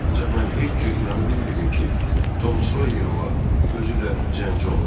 Ancaq mən heç cür inana bilmirdim ki, Tom Sawyer ola, özü də zəncini oğurlaya.